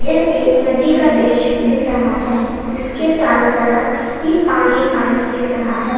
एक नदी का दृश्य दिख रहा है जिसके चारों तरफ ही पानी पानी दिख रहा है।